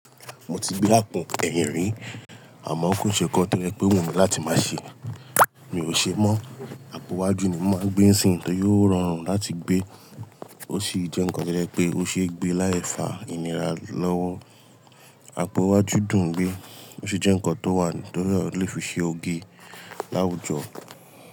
Mo ti gbé àpọn ẹ̀yìn rí àmọ́ kò ṣe nkán to je pé o wùn mí láti má ṣe, mi ò ṣe mọ́. Àpò iwaju ni mo máa gbé sìń yi, tori o rọrùn láti gbé, ó sì jẹ́ nǹkan tí ó to je pe o ṣe é gbé láìfa ìnira lọ́wọ́. Apo iwaju dun gbé, ó sì jẹ́ nǹkan tó wà tí ó lè fi ṣe oge láwùjọ.